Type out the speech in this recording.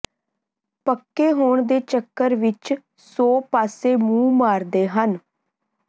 ਪੱਕੇ ਹੋਣ ਦੇ ਚੱਕਰ ਵਿੱਚ ਸੌ ਪਾਸੇ ਮੂੰਹ ਮਾਰਦੇ ਹਨ